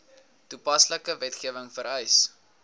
toepaslike wetgewing vereis